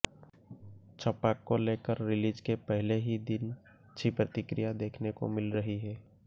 छपाक को लेकर रिलीज के पहले ही दिन अच्छी प्रतिक्रिया देखने को मिल रही है